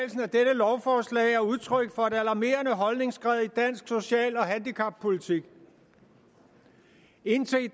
lovforslag er udtryk for et alarmerende holdningsskred i dansk social og handicappolitik indtil i